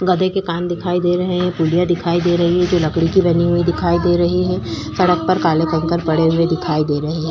गधे के कान दिखाई दे रहें हैं दिखाई दे रही है जो लकड़ी की बनी हुई दिखाई दे रही है सड़क पर काले ककड़ पड़े हुए दिखाई दे रहें हैं।